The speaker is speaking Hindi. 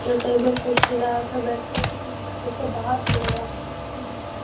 जो टेबल कुर्सी लगा के बैठे हैं यहाँ पर सब बाहर से लोग आते हैं पिकनिक मनाने।